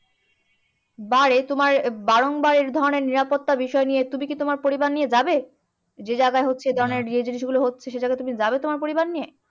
বা রে তোমার বারংবার এইধরণের নিরাপত্তা বিষয় নিয়ে তুমি কি তোমার পরিবার নিয়ে যাবে? যে জায়গায় হচ্ছে যে, জিনিসগুলো হচ্ছে সেই জায়গায় যাবে তোমার পরিবার নিয়ে?